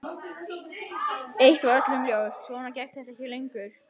Eitt var öllum ljóst: Svona gekk þetta ekki lengur.